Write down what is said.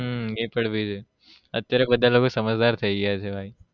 હમ એ પણ ભી છે અત્યારે બધાં લોકો સમાજદાર થઇ ગયા છે ભાઈ